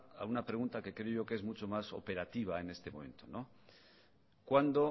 a una pregunta que creo yo que es mucho más operativa en este momento cuándo